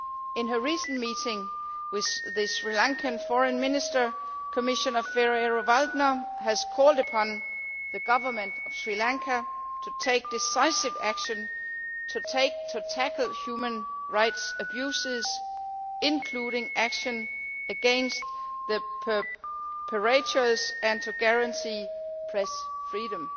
In her recent meeting with the Sri Lankan Foreign Minister, Commissioner Ferrero Waldner called upon the Government of Sri Lanka to take decisive action to tackle human rights abuses, including action against the perpetrators, and to guarantee press freedom.